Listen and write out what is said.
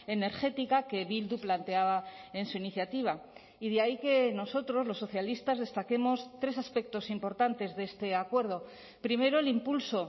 energética que bildu planteaba en su iniciativa y de ahí que nosotros los socialistas destaquemos tres aspectos importantes de este acuerdo primero el impulso